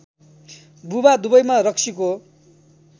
बुवा दुवैमा रक्सीको